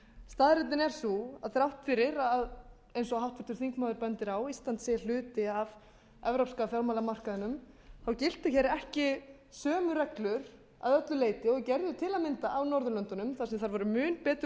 staðreyndin er sú að þrátt fyrir eins og háttvirtur þingmaður bendir á að ísland sé hluti af evrópska fjármálamarkaðnum þá giltu hér ekki sömu reglur til að öllu leyti og gerðu til að mynda á norðurlöndunum þar sem þær voru mun betur